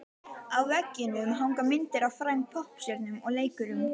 Á veggjunum hanga myndir af frægum poppstjörnum og leikurum.